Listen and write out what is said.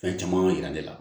Fɛn caman yira ne la